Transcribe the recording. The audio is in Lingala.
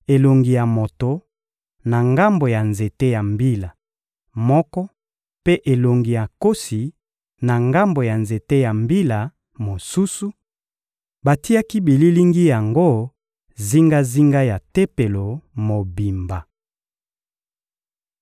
elongi ya moto, na ngambo ya nzete ya mbila moko mpe elongi ya nkosi, na ngambo ya nzete ya mbila mosusu; batiaki bililingi yango zingazinga ya Tempelo mobimba.